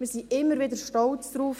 Wir sind immer wieder stolz darauf.